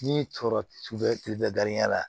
Ni sɔrɔ cu bɛ garijɛgɛ la